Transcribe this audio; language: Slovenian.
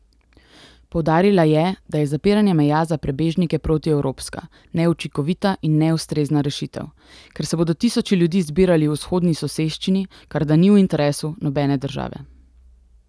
Poudarila je, da je zapiranje meja za prebežnike protievropska, neučinkovita in neustrezna rešitev, ker se bodo tisoči ljudi zbirali v vzhodni soseščini, kar da ni v interesu nobene države.